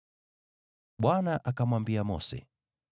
Bwana akamwambia Mose,